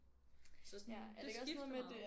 Så sådan det skifter meget